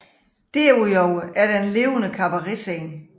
Derudover er der en levende kabaretscene